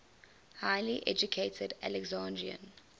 highly educated alexandrian